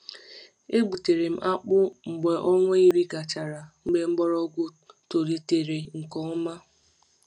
E gbutere m akpụ mgbe ọnwa iri gachara, mgbe mgbọrọgwụ tolitere nke ọma.